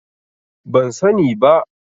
Ban sani ba.